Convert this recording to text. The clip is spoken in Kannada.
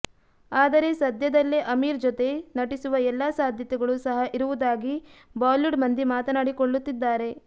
ಆದರೆ ಸಧ್ಯದಲ್ಲೇ ಅಮೀರ್ ಜೊತೆ ನಟಿಸುವ ಎಲ್ಲಾ ಸಾಧ್ಯತೆಗಳು ಸಹ ಇರುವುದಾಗಿ ಬಾಲಿವುಡ್ ಮಂದಿ ಮಾತನಾಡಿ ಕೊಳ್ಳುತ್ತಿದ್ದಾರೆ